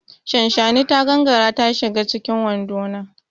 Shanshani ta gangara ta shige cikin wando na.